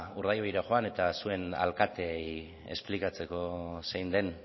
urdaibaira joan eta zuen alkateari esplikatzeko zein den